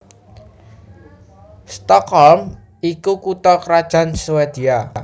Stockholm iku kutha krajan Swédia